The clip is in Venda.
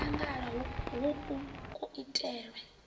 o no mangala hoku kuitele